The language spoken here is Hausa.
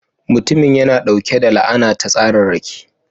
Mutumin yana ɗauke da la'ana ta tsararraki.